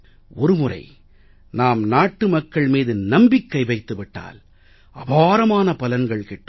ஒரு முறை நாம் நாட்டு மக்கள் மீது நம்பிக்கை வைத்து விட்டால் அபாரமான பலன்கள் கிட்டும்